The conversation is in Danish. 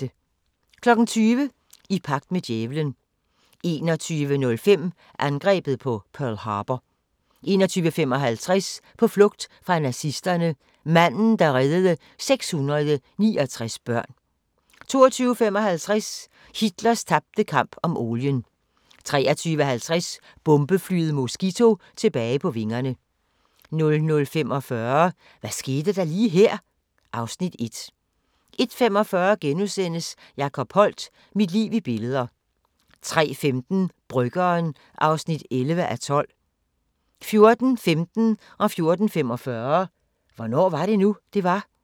20:00: I pagt med djævelen 21:05: Angrebet på Pearl Harbor 21:55: På flugt fra nazisterne – manden, der reddede 669 børn 22:55: Hitlers tabte kamp om olien 23:50: Bombeflyet Mosquito tilbage på vingerne 00:45: Hvad skete der lige her? (Afs. 1) 01:45: Jacob Holdt – Mit liv i billeder * 03:15: Bryggeren (11:12) 04:15: Hvornår var det nu, det var? 04:45: Hvornår var det nu, det var?